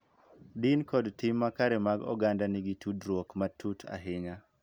Din kod tim makare mag oganda nigi tudruok matut ahinya.